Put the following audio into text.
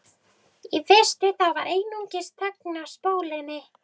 Í fyrstu var einungis þögn á spólunni.